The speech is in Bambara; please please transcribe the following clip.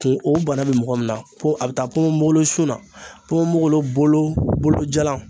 Kun o bana bɛ mɔgɔ min na ko a bɛ taa ponponpogolon sun na ponponpogolon bolo bolo jalan